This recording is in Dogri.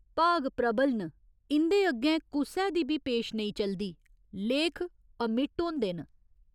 भाग प्रबल न, इं'दे अग्गें कुसै दी बी पेश नेईं चलदी, लेख अमिट होंदे न।